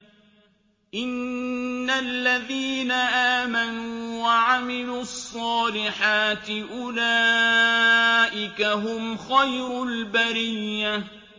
إِنَّ الَّذِينَ آمَنُوا وَعَمِلُوا الصَّالِحَاتِ أُولَٰئِكَ هُمْ خَيْرُ الْبَرِيَّةِ